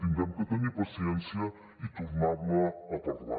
haurem de tenir paciència i tornar ne a parlar